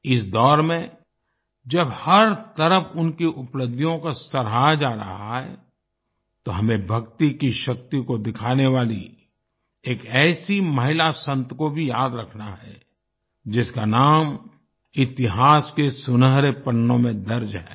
इस दौर में जब हर तरफ उनकी उपलब्धियों को सराहा जा रहा है तो हमें भक्ति की शक्ति को दिखाने वाली एक ऐसी महिला संत को भी याद रखना है जिसका नाम इतिहास के सुनहरे पन्नो में दर्ज है